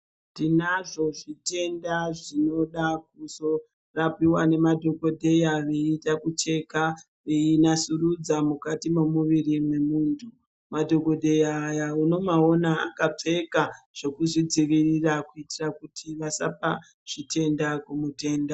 Tinazvo zvitenda zvinoda kuzorapiwa nemadhokodheya veida kucheka, veinasurudza mukati memuviri memuntu. Madhokodheya aya unomaona akapfeka zvekuzvidzivirira kuitira kuti asapa zvitenda kumutenda.